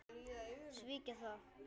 Svíkja það.